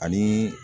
Ani